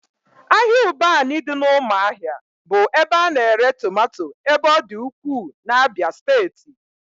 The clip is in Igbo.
Ahịa Ụbanị dị n'ụmụahia bụ ebe a na-ere tomato ebe ọ dị ukwuu n'Abia steeti